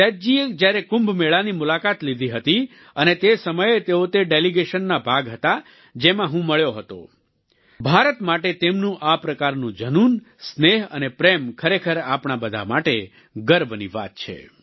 સેદૂ જીએ જ્યારે કુંભ મેળાની મુલાકાત લીધી હતી અને તે સમયે તેઓ તે ડેલિગેશનનો ભાગ હતા જેમાં હું મળ્યો હતો ભારત માટે તેમનું આ પ્રકારનું ઝનૂન સ્નેહ અને પ્રેમ ખરેખર આપણા બધા માટે ગર્વની વાત છે